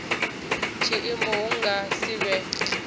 tshiimo hu nga si vhe